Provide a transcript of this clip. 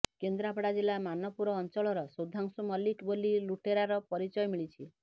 କେନ୍ଦ୍ରପଡା ଜିଲ୍ଲା ମାନପୁର ଅଞ୍ଚଳର ସୁଧାଂଶୁ ମଲ୍ଲିକ ବୋଲି ଲୁଟେରାର ପରିଚୟ ମିଳିଛି